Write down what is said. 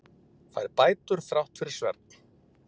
Fær bætur þrátt fyrir svefn